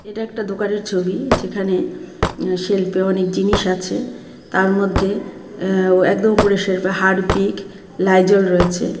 এটা একটা দোকানের ছবি যেখানে আঃ সেলফে অনেক জিনিস আছে তার মধ্যে আঃ একদম উপরের সেলফে হারপিক লাইজল রয়েছে .